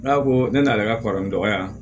N'a ko ne n'ale ka kɔrɔ ni dɔgɔ yan